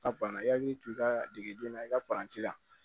Ka banna i hakili to i ka degeden na i ka la